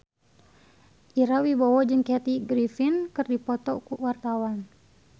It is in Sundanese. Ira Wibowo jeung Kathy Griffin keur dipoto ku wartawan